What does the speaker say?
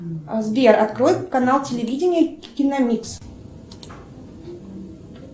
сбер открой канал телевидения киномикс